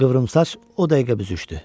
Qıvrımsaç o dəqiqə büzüşdü.